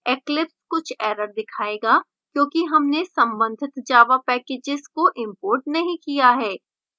eclipse कुछ errors दिखायेगा क्योंकि हमने संबंधित java packages को imported नहीं किया है